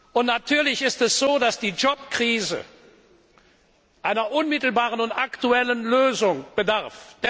Und natürlich ist es so, dass die Jobkrise einer unmittelbaren und aktuellen Lösung bedarf.